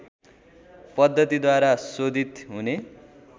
पद्धतिद्वारा शोधित हुने